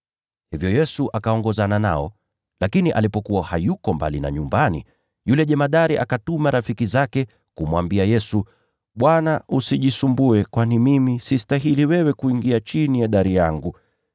Hivyo Yesu akaongozana nao, lakini alipokuwa hayuko mbali na nyumbani, yule jemadari akatuma rafiki zake kumwambia Yesu, “Bwana, usijisumbue, kwani mimi sistahili wewe kuingia chini ya dari yangu.